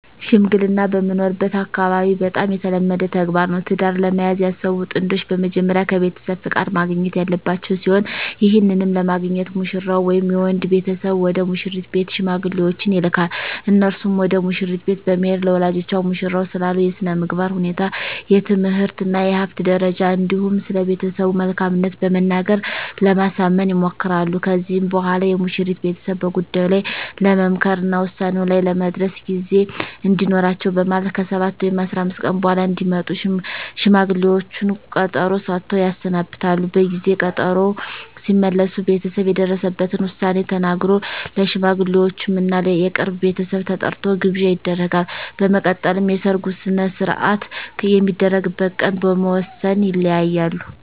ሽምግልና በምኖርበት አካባቢ በጣም የተለመደ ተግባር ነው። ትዳር ለመያዝ ያሰቡ ጥንዶች በመጀመሪያ ከቤተሰብ ፍቃድ ማግኘት ያለባቸው ሲሆን ይህንንም ለማግኘት ሙሽራው ወይም የወንድ ቤተሰብ ወደ ሙሽሪት ቤት ሽማግሌዎችን ይልካል። እነርሱም ወደ መሽሪት ቤት በመሄድ ለወላጆቿ ሙሽራው ስላለው የስነምግባር ሁኔታ፣ የትምህርት እና የሀብት ደረጃ እንዲሁም ስለቤተሰቡ መልካምት በመናገር ለማሳመን ይሞክራሉ። ከዚህም በኋላ የሙሽሪት ቤተሰብ በጉዳዩ ላይ ለመምከር እና ውሳኔ ላይ ለመድረስ ጊዜ እንዲኖራቸው በማለት ከ7 ወይም 15 ቀን በኃላ እንዲመጡ ሽማግሌዎቹን ቀጠሮ ሰጥተው ያሰናብታሉ። በጊዜ ቀጠሮው ሲመለሱ ቤተሰብ የደረሰበትን ዉሳኔ ተናግሮ፣ ለሽማግሌወቹም እና የቅርብ ቤተሰብ ተጠርቶ ግብዣ ይደረጋል። በመቀጠልም የሰርጉ ሰነሰርአት የሚደረግበት ቀን በመወስን ይለያያሉ።